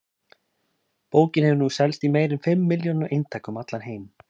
Bókin hefur nú selst í meira en fimm milljónum eintaka um allan heim.